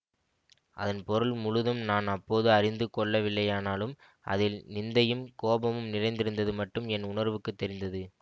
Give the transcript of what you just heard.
அதன் பொருள் முழுதும் நான் அப்போது அறிந்து கொள்ளவில்லையானாலும் அதில் நிந்தையும் கோபமும் நிறைந்திருந்தது மட்டும் என் உணர்வுக்குத் தெரிந்தது